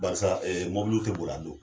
Karisa mɔbiliw tɛ bor'a don.